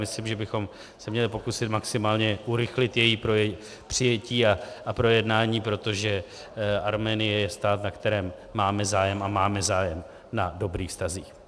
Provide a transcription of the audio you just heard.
Myslím, že bychom se měli pokusit maximálně urychlit její přijetí a projednání, protože Arménie je stát, na kterém máme zájem, a máme zájem na dobrých vztazích.